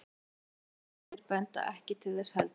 skriflegar heimildir benda ekki til þess heldur